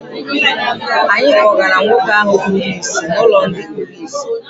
Anyị kpọgara nwoke ahụ kpuru ìsì n'ụlọ ndị kpuru ìsì.